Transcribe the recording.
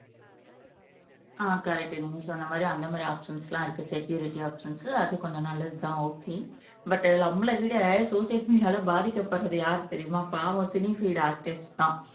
ஆஹ் correct நீங்க சொன்ன மாதிரி அந்த மாதிரி ஆப்ஷன்ஸ்லா இருக்கு செக்கூரிட்டி ஆப்ஷன்ஸ் அது கொஞ்சம் நல்லதுதான் ஓக்கே பட் இது நம்மளை விட சோசியல் மீடியால பாதிக்கப்படுறது யார் தெரியுமா பாவம் சினி பீல்டு ஆர்டிஸ்ட்ஸ்தான்